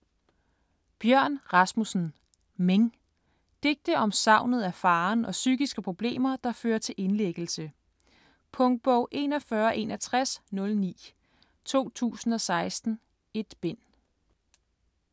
Rasmussen, Bjørn: Ming Digte om savnet af faderen og psykiske problemer, der fører til indlæggelse. Punktbog 416109 2016. 1 bind.